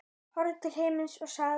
Horfði til himins og sagði